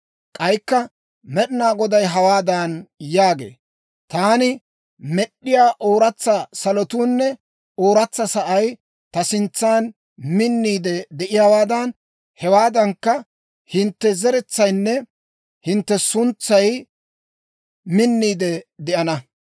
K'aykka Med'inaa Goday hawaadan yaagee; «Taani med'd'iyaa ooratsa salotuunne ooratsa sa'ay ta sintsan minniide de'iyaawaadan, hewaadankka, hintte zeretsaynne hintte suntsay minniide de'ana.